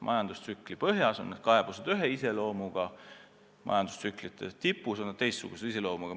Majandustsükli põhjas on need ühe iseloomuga, majandustsükli tipus teistsuguse iseloomuga.